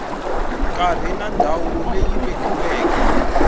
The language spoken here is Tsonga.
nkarhi na ndhawu leyi vekiweke